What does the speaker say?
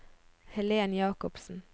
Helene Jakobsen